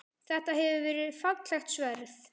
Þetta hefur verið fallegt sverð?